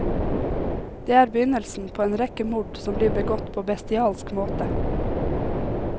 Det er begynnelsen på en rekke mord som blir begått på bestialsk måte.